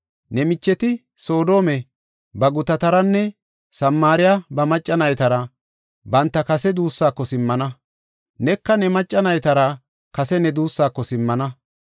Ne micheti, Soodome ba gutataranne Samaariya ba macca naytara banta kase duusako simmana; neka ne macca naytara kase ne duussako simmana.